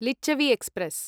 Lichchhavi express